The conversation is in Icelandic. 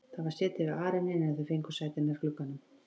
Það var setið við arininn en þau fengu sæti nær glugganum.